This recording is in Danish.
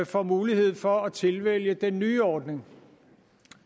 får mulighed for at tilvælge den nye ordning